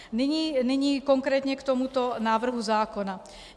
Nyní konkrétně k tomuto návrhu zákona.